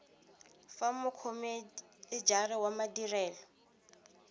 fa mokhome enare wa madirelo